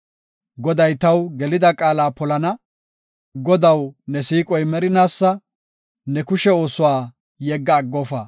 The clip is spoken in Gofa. Goday taw gelida qaala polana; Godaw, ne siiqoy merinaasa; Ne kushe oosuwa yegga aggofa.